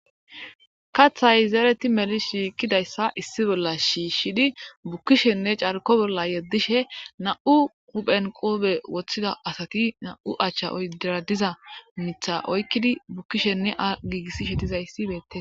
Kaaththay zereti meli shiiqidayssa issi bolla shiishshidi bukkishenne carkko bolla yeddishe na'u huphen qoobe woththida asati na'u achcha oydera diza miththa oykidi bukkishenne gigisishe dizayssi beetees.